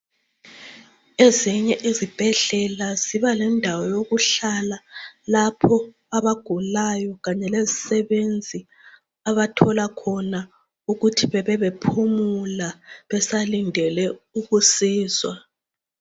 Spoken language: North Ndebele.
Ezinye izibhedlela zibalendawo yokuhlala lapho abagulayo kanye lezisebenzi abathola khona ukuthi bebebephumula besalindele ukusizwa.